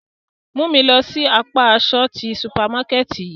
Mu mi lọ si apa aṣọ ti supamakẹti yii!